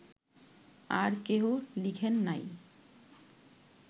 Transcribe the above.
আর কেহ লিখেন নাই